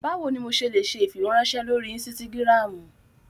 Bawo ni mo ṣe le ṣe ifiweranṣẹ lori ínsìtágirámu?